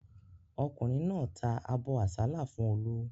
Ọkùnrin náà ta abọ́ àsálà fún Olú.